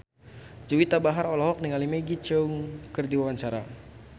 Juwita Bahar olohok ningali Maggie Cheung keur diwawancara